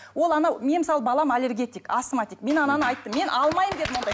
ол анау мен мысалы балам аллергетик асматик мен ананы айттым мен алмаймын дедім ондай